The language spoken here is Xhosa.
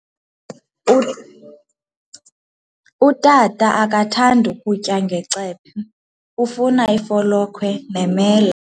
Utata akathandi ukutya ngecephe, ufuna ifolokhwe nemela.